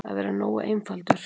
Að vera nógu einfaldur.